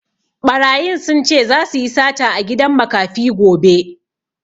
Ɓarayin sun ce zasu yi sata a gidan makafi gobe